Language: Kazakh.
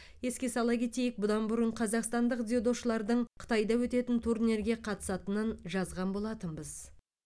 еске сала кетейік бұдан бұрын қазақстандық дзюдошылардың қытайда өтетін турнирге қатысатынын жазған болатынбыз